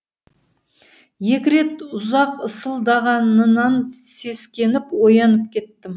екі рет ұзақ ысылдағанынан сескеніп оянып кеттім